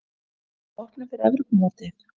Verða þeir í hópnum fyrir Evrópumótið?